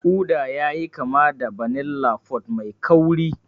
Uda yayi kama da vanilla pod mai kauri.